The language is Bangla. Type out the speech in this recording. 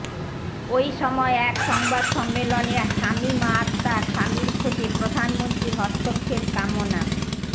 ওই সময় এক সংবাদ সম্মেলনে শামীমা আখতার স্বামীর খোঁজে প্রধানমন্ত্রীর হস্তক্ষেপ কামনা